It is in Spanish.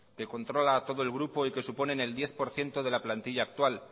que controla a todo el grupo que suponen el diez por ciento de la plantilla actual